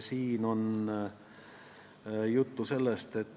Siin on juttu sellest, et